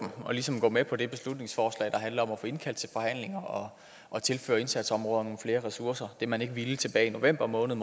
og ligesom gå med på det beslutningsforslag der handler om at få indkaldt til forhandlinger og tilføre indsatsområderne nogle flere ressourcer det man ikke ville tilbage i november måned